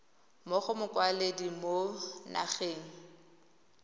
mo go mokwaledi mo nageng